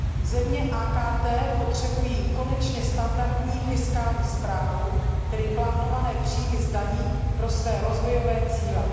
Země AKT potřebují konečně standardní fiskální správu, tedy plánované příjmy z daní pro své rozvojové cíle.